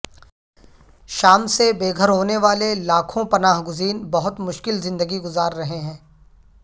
شام سے بے گھر ہونے والے لاکپوں پناہ گزین بہت مشکل زندگی گزار رہے ہیں